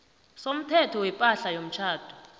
somthetho wepahla yomtjhado